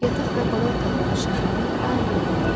Yataq və qonaq otağının işıqları daimi yanırdı.